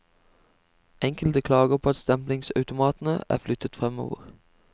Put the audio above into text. Enkelte klager på at stemplingsautomatene er flyttet fremover.